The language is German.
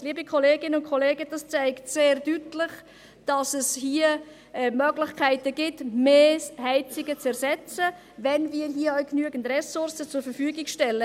Liebe Kolleginnen und Kollegen, dies zeigt sehr deutlich, dass es Möglichkeiten gibt, mehr Heizungen zu ersetzen, wenn wir hier genügend Ressourcen zur Verfügung stellen.